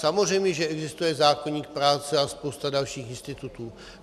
Samozřejmě že existuje zákoník práce a spousta dalších institutů.